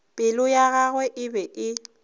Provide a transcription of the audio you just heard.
pelo ya gagwe e be